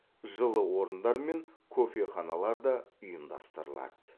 жылы орындар мен кофеханалар да ұйымдастырылады